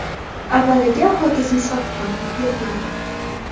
Avvaliga ho‘kizni sotdim yetmadi.